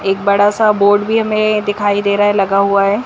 एक बड़ा सा बोर्ड भी हमें दिखाई दे रहा है लगा हुआ है।